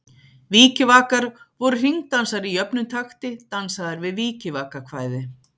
Vikivakar voru hringdansar í jöfnum takti, dansaðir við vikivakakvæði.